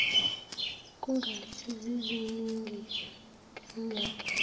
kungathi ziziningi kangaka